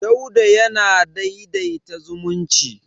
Dauda yana daidaita zumunci.